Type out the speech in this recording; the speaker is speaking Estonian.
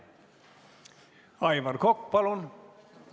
Aivar Kokk, palun!